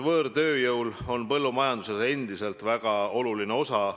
Võõrtööjõud mängib põllumajanduses endiselt väga olulist osa.